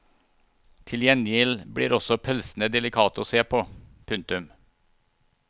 Til gjengjeld blir også pølsene delikate å se på. punktum